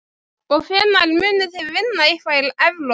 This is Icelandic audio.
Og hvenær munið þið vinna eitthvað í Evrópu?